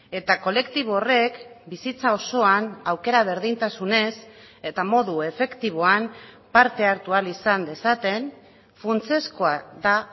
eta kolektibo horrek bizitza osoan aukera berdintasunez eta modu efektiboan parte hartu ahal izan dezaten funtsezkoa da